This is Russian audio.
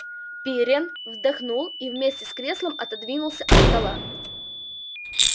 пиренн вздохнул и вместе с креслом отодвинулся от стола